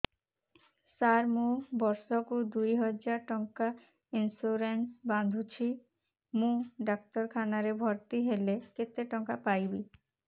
ସାର ମୁ ବର୍ଷ କୁ ଦୁଇ ହଜାର ଟଙ୍କା ଇନ୍ସୁରେନ୍ସ ବାନ୍ଧୁଛି ମୁ ଡାକ୍ତରଖାନା ରେ ଭର୍ତ୍ତିହେଲେ କେତେଟଙ୍କା ପାଇବି